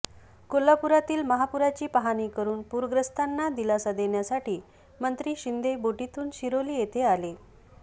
कोल्हापुरातील महापुराची पाहणी करून पूरग्रस्तांना दिलासा देण्यासाठी मंत्री शिंदे बोटीतून शिरोली येथे आले